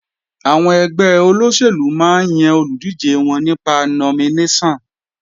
Àwọn ẹgbẹ́ olóṣèlú máa ń yan olùdíje wọn nípa nominéṣọ̀n